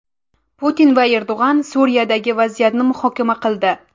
Putin va Erdo‘g‘on Suriyadagi vaziyatni muhokama qildi.